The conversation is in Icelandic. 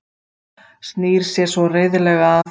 Snýr sér svo reiðilega að